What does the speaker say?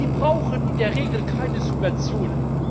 Die brauchen in der Regel keine Subventionen.